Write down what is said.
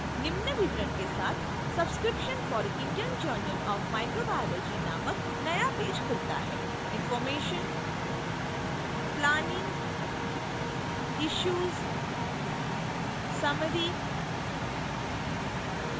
निम्न विवरण के साथ subscription for indian journal of microbiology नामक नया पेज खुलता है